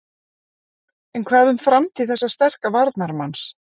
En hvað um framtíð þessa sterka varnarmanns?